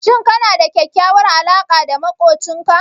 Shin kana da kyakkyawar alaƙa da maƙocinka?